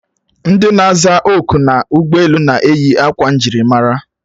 Ndị na-aza oku n'ụgbọelu na-eyi akwa njirimara